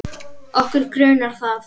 Okkur grunar það.